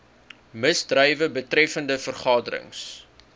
misdrywe betreffende vergaderings